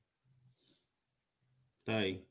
তাই?